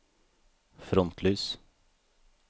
frontlys